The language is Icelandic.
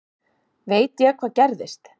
Veit ég hvað gerðist?